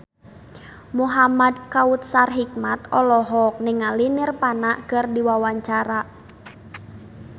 Muhamad Kautsar Hikmat olohok ningali Nirvana keur diwawancara